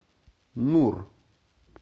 нур